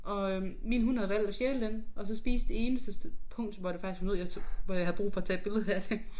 Og øh min hund havde valgt at stjæle den og så spise det eneste punkt hvor der faktisk var noget jeg tog hvor jeg havde brug for at tage et billede af det